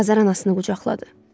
Azər anasını qucaqladı.